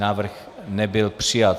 Návrh nebyl přijat.